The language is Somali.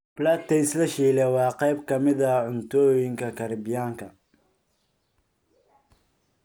Plantains la shiilay waa qayb ka mid ah cuntooyinka Kariibiyaanka.